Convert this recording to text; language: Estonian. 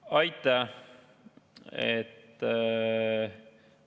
Aitäh!